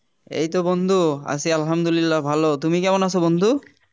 এইতো বন্ধু আছি আলহামদুলিল্লাহ ভালো তুমি কেমন আছো বন্ধু?